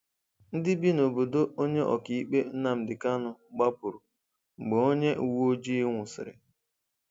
Ndị bi n’obodo onye ọka ikpe Nnamdi Kanu gbapụrụ mgbe onye uwe ojii nwụsịrị.